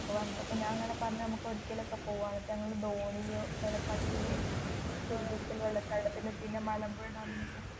പോവാന്ന് അപ്പോ ഞാൻ അങ്ങനെ പറഞ്ഞു നമുക്ക് എവിടെക്കെലും ഒക്കെ പോവാന്ന് എന്നിട്ടു ഞങ്ങൾ ധോനിയോ വെള്ള ചാട്ടത്തിലും വെള്ളം ചാട്ടത്തിലും പിന്നേ മലമ്പുഴ ഡാമിൽ ഒക്കേ പോയി.